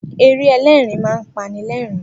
Eré ẹlẹ́rin máa ń pani lẹ́ẹ̀rin